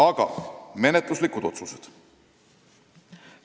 Aga nüüd menetluslikud otsused.